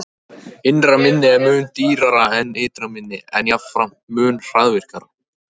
Innra minni er mun dýrara en ytra minni, en jafnframt mun hraðvirkara.